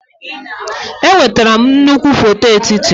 Enwetara m nnukwu foto etiti.